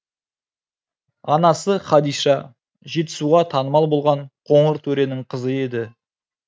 анасы хадиша жетісуға танымал болған қоңыр төренің қызы еді